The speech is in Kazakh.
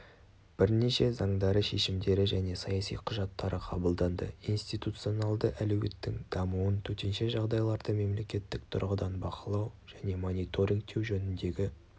бірнеше заңдары шешімдері және саяси құжаттары қабылданды институционалды әлеуеттің дамуын төтенше жағдайларды мемлекеттік тұрғыдан бақылау және мониторингтеу жөніндегі